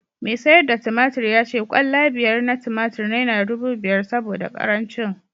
mai sayar da tumatur ya ce kwalla biyar na tumatur naira dubu biyar saboda karancin